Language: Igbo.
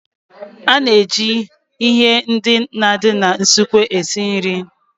A na-eji ihe ndị na-adị n'usekwu esi nri.